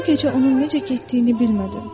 Bu gecə onun necə getdiyini bilmədim.